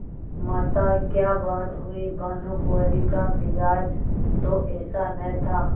माताक्या बात हुई भानुकुँवरि का मिजाज तो ऐसा न था